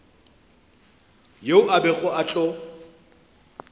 yeo a bego a tlo